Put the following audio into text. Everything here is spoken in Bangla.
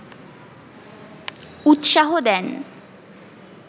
উৎসাহ দেন